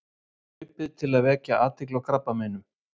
Hlaupið til að vekja athygli á krabbameinum.